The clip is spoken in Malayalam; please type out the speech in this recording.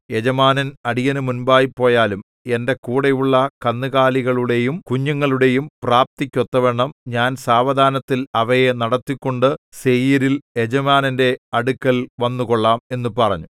യജമാനൻ അടിയനു മുൻപായി പോയാലും എന്റെ കൂടെയുള്ള കന്നുകാലികളുടെയും കുഞ്ഞുങ്ങളുടെയും പ്രാപ്തിക്ക് ഒത്തവണ്ണം ഞാൻ സാവധാനത്തിൽ അവയെ നടത്തിക്കൊണ്ടു സേയീരിൽ യജമാനന്റെ അടുക്കൽ വന്നുകൊള്ളാം എന്നു പറഞ്ഞു